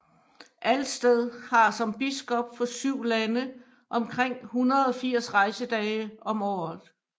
Alsted har som biskop for syv lande omkring 180 rejsedage om året